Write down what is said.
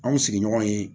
An mi sigi ɲɔgɔn ye